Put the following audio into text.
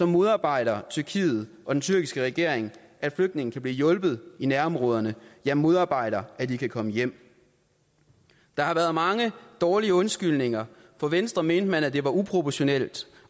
modarbejder tyrkiet og den tyrkiske regering at flygtninge kan blive hjulpet i nærområderne ja modarbejder at de kan komme hjem der har været mange dårlige undskyldninger fra venstre mente man at det var uproportionalt